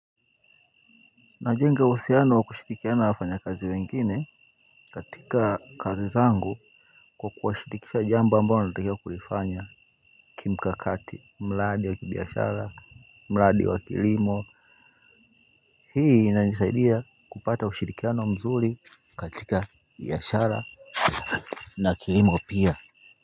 Najenga uhusiano wa kushirikiana na wafanya kazi wengine katika kazi zangu kwa kuwashirikisha jambo ambao natakia kulifanya kimkakati mradi wa kibiashara mradi wa kilimo hii inanisaidia kupata ushirikiano mzuri katika biashara na kilimo pia.